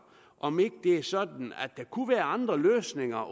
om ikke det er sådan at der kunne være andre løsninger